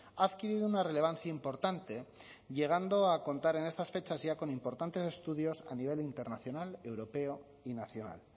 ha adquirido una relevancia importante llegando a contar en estas fechas ya con importantes estudios a nivel internacional europeo y nacional